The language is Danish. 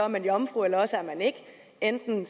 man jomfru eller også er man ikke enten